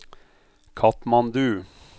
Katmandu